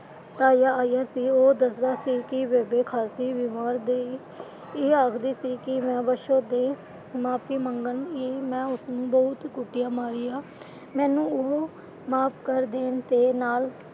ਤਾਇਆ ਆਇਆ ਸੀ, ਉਹ ਦੱਸਦਾ ਸੀ ਕਿ ਬੇਬੇ ਖ਼ਾਸੀ ਬੀਮਾਰ ਗਈ। ਇਹ ਆਖਦੀ ਸੀ ਕਿ ਮੈਂ ਬਸੋ ਦੇ ਮਾਫ਼ੀ ਮੰਗਾਂਗੀ ਮੈਂ ਉਸਨੂੰ ਬਹੁਤ ਕੁੱਟਿਆ ਮਾਰਿਆ, ਮੈਨੂੰ ਉਹ ਮਾਫ਼ ਕਰ ਦੇਣ ਤੇ ਨਾਲ,